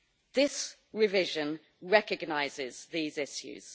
This revision recognises these issues.